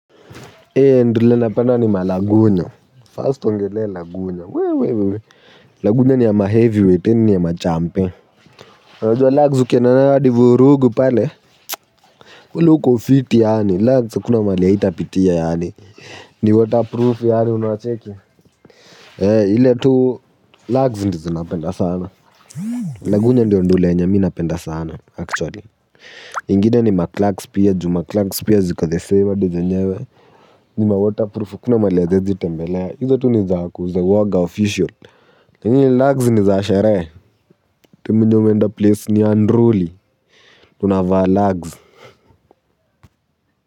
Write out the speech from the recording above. Hei ndule napenda ni malagunyo. First ongelea lagunya. Wee wee wee. Lagunya ni ya maheavyweight ni ya machampion. Unajua lagz ukienda nayo hadi vurugu pale. Kweli uko fiti yaani lagz hakuna mali haitapitia yaani. Ni waterproof yaani unacheki. Hei ile tu lagzu ndizi napenda sana. Lagunya ndio ndule yenye mi napenda sana actually. Ingine ni mklax pia ju mklax pia ziko the saver dido nyewe. Ni mawaterproof, hakuna mahali haziezi tembelea, hizo tu niza kuuza uoga official, lakini lagzi niza sheree, tu mwenye umeenda place ni unruly, tunavaa lagzi.